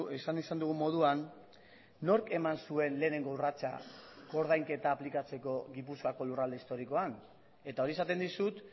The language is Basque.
esan izan dugun moduan nork eman zuen lehenengo urratsa koordainketa aplikatzeko gipuzkoako lurralde historikoan eta hori esaten dizut